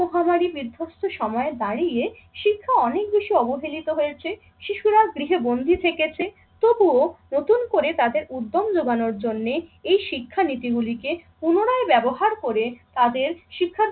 মহামারী বিধ্বস্ত সময়ে দাঁড়িয়ে শিক্ষা অনেক বেশি অবহেলিত হয়েছে, শিশুরা গৃহে বন্দি থেকেছে তবুও নতুন করে তাদের উদ্যম জোগানোর জন্যে এই শিক্ষানীতিগুলিকে পুনরায় ব্যবহার করে তাদের শিক্ষার